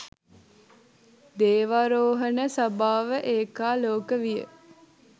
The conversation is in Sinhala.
දේවාරෝහණ සභාව ඒකාලෝක විය